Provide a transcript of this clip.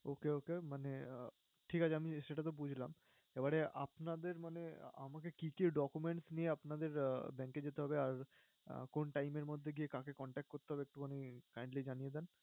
Okay okay, মানে আহ ঠিক আছে আমি সেটাতো বুঝলাম। এবারে আপনাদের মানে আমাকে কি কি documents নিয়ে আপনাদের bank এ যেতে হবে? আর কোন time এর মধ্যে কি কাকে contact করতে হবে একটুখানি kindly জানিয়ে দেন